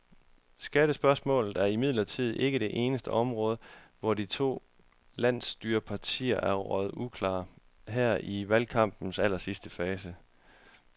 Skattespørgsmålet er imidlertid ikke det eneste område, hvor de to landsstyrepartier er røget uklar her i valgkampens allersidste fase.